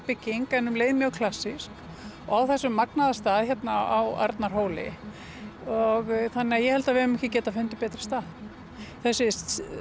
bygging en um leið mjög klassísk á þessum magnaða stað á Arnarhóli þannig að ég held að við höfum ekki getað fundið betri stað þessi